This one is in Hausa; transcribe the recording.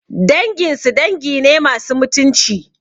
Danginsu dangi ne masu mutunci